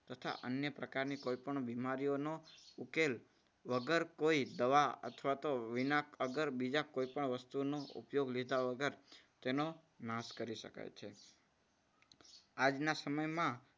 તથા અન્ય પ્રકારની કોઈ પણ બીમારીઓનું ઉકેલ વગર કોઈ દવા અથવા તો વિના અગર બીજા કોઈ પણ વસ્તુનો ઉપયોગ લીધા વગર તેનો નાશ કરી શકાય છે. આજના સમયમાં